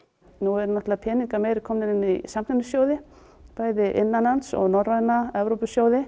nú eru peningar meira komnir inn í samkeppnissjóði bæði innanlands og norræna